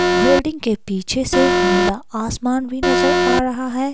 विल्डिंग के पीछे से नीला आसमान भी नजर आ रहा है।